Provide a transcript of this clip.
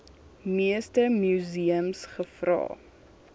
meeste museums gevra